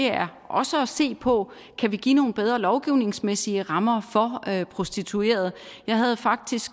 er også at se på om kan give nogle bedre lovgivningsmæssige rammer for prostituerede jeg havde faktisk